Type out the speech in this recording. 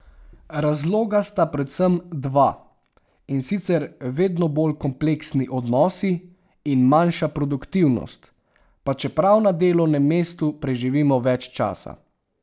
Razloga sta predvsem dva, in sicer vedno bolj kompleksni odnosi in manjša produktivnost, pa čeprav na delovnem mestu preživimo več časa.